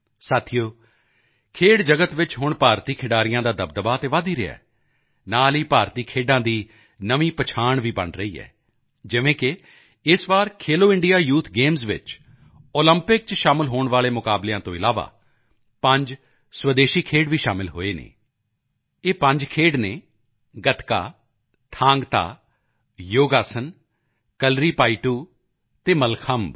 ਸਾਥੀਓ ਖੇਡ ਜਗਤ ਵਿੱਚ ਹੁਣ ਭਾਰਤੀ ਖਿਡਾਰੀਆਂ ਦਾ ਦਬਦਬਾ ਤਾਂ ਵਧ ਹੀ ਰਿਹਾ ਹੈ ਨਾਲ ਹੀ ਭਾਰਤੀ ਖੇਡਾਂ ਦੀ ਵੀ ਨਵੀਂ ਪਹਿਚਾਣ ਬਣ ਰਹੀ ਹੈ ਜਿਵੇਂ ਕਿ ਇਸ ਵਾਰ ਖੇਲੋ ਇੰਡੀਆ ਯੂਥ ਗੇਮਸ ਵਿੱਚ ਓਲੰਪਿਕ ਚ ਸ਼ਾਮਲ ਹੋਣ ਵਾਲੇ ਮੁਕਾਬਲਿਆਂ ਤੋਂ ਇਲਾਵਾ ਪੰਜ ਸਵੈਦੇਸ਼ੀ ਖੇਡ ਵੀ ਸ਼ਾਮਲ ਹੋਏ ਹਨ ਇਹ ਪੰਜ ਖੇਡ ਹਨ ਗਤਕਾ ਥਾਂਗ ਤਾ ਯੋਗ ਆਸਨ ਕਲਰੀਪਾਯੱਟੂ ਕਲਾਰੀਪਯੱਟੂ ਅਤੇ ਮੱਲਖੰਬ